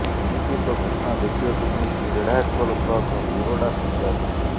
ଏମିତି ଏକ ଘଟଣା ଦେଖିବାକୁ ମିଳିଛି ରେଢ଼ାଖୋଲ ବ୍ଲକ ବୁରଡା ପଞ୍ଚାୟତରେ